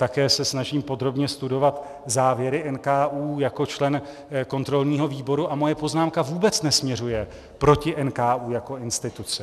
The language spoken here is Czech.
Také se snažím podrobně studovat závěry NKÚ jako člen kontrolního výboru a moje poznámka vůbec nesměřuje proti NKÚ jako instituci.